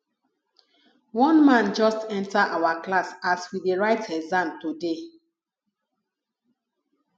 one man just enter our class as we dey write exam today